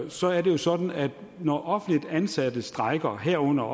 så er det jo sådan at når offentligt ansatte strejker herunder